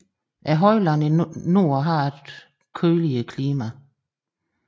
Højlandet i nord har et køligere klima